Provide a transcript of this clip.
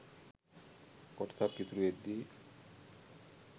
කොටසක් ඉතුරුවෙද්දී